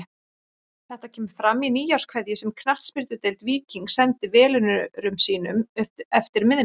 Þetta kemur fram í nýárskveðju sem Knattspyrnudeild Víkings sendi velunnurum sínum eftir miðnætti.